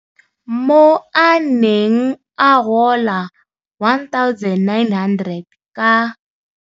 mo a neng a gola R1 900 ka